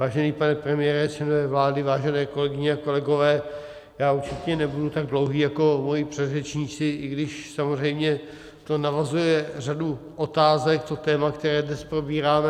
Vážený pane premiére, členové vlády, vážené kolegyně a kolegové, já určitě nebudu tak dlouhý jako moji předřečníci, i když samozřejmě to navozuje řadu otázek, to téma, které dnes probíráme.